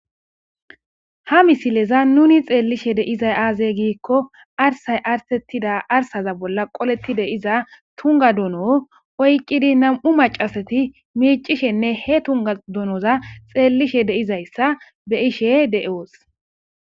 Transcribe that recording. ha misileza nuni xeellishe deizay aazey giikko arsay artettida arsaza bolla qoletti deiza tunga dono oyqqidi nam7u macasati miicishenne he tunga donoza xeellishe deizayssa be ishe de7oos